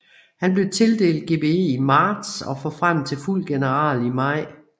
Han blev tildelt GBE i marts og forfremmet til fuld general i maj